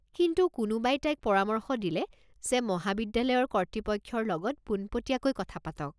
কিন্তু কোনোবাই তাইক পৰামৰ্শ দিলে যে মহাবিদ্যালয়ৰ কৰ্তৃপক্ষৰ লগত পোনপটিয়াকৈ কথা পাতক।